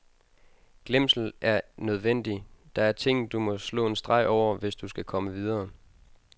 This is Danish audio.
Glemsel er nødvendig, der er ting du må slå en streg over, hvis du skal komme videre.